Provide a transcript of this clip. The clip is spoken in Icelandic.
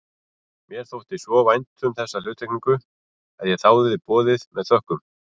Mér þótti svo vænt um þessa hluttekningu að ég þáði boðið með þökkum.